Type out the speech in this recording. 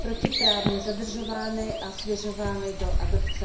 protiprávně zadržovány a svěřovány do adopce.